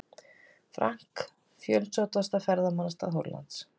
Frank, fjölsóttasta ferðamannastað Hollands.